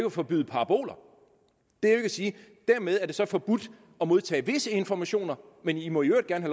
at forbyde paraboler det er ikke at sige dermed er det så forbudt at modtage visse informationer men i må i øvrigt gerne